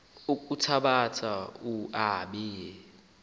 kuthabatha u aabe